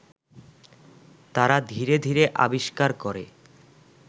তারা ধীরে ধীরে আবিষ্কার করে